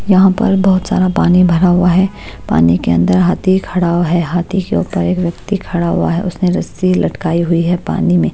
यहाँ पर बहुत सारा पानी भरा हुआ है पानी के अंदर हाथी खड़ा हुआ है हाथी के ऊपर एक व्यक्ति खड़ा हुआ है उसने रस्सी लटकाई हुई है पानी में।